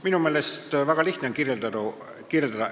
Minu meelest on seda väga lihtne kirjeldada.